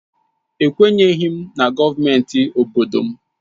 Ekwenyeghi m na gọọmenti obodo m.